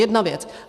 Jedna věc.